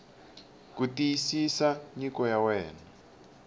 ku xiyisisa nyiko ya wena